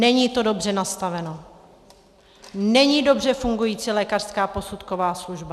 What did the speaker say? Není to dobře nastaveno, není dobře fungující lékařská posudková služba.